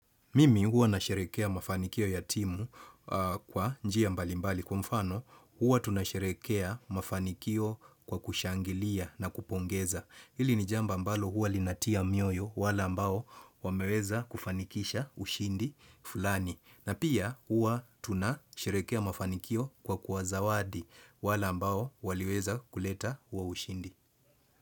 Mimi huwa na sherehekea mafanikio ya timu kwa njia mbalimbali. Kwa mfano huwa tunasherehekea mafanikio kwa kushangilia na kupongeza. Hili ni jambo ambalo huwa linatia mioyo wale ambao wameweza kufanikisha ushindi fulani. Na pia huwa tunasherehekea mafanikio kwa kuwazawadi wale ambao waliweza kuleta huo ushindi.